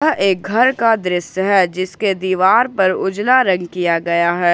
यह एक घर का दृश्य है जिसके दीवार पर उजला रंग किया गया है।